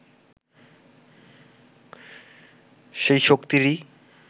সেই শক্তিরই